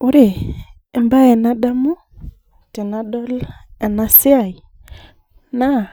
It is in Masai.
Ore ebae nadamu tenadol enasiai, naa,